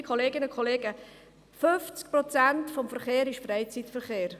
Liebe Kolleginnen und Kollegen, 50 Prozent des Verkehrs ist Freizeitverkehr.